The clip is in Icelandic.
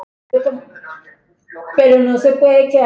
Varir þeirra mætast.